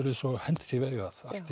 eins og hendi sé veifað þá